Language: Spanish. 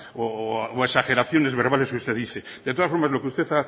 exageraciones verbales que usted dice de todas formas lo que usted